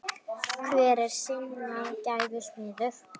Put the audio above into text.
Hver er sinnar gæfu smiður